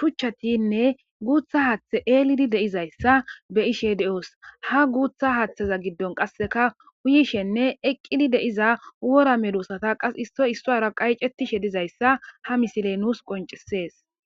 shuchchatinne guutha haaththe eelidi deizayssa be ishe de7oos ha guutha haaththeza giddon qasseka uyishenne eqqidi deiza wora medusata qas issoy isso ra qayicetishe dizayssa ha misile nuus qoncisees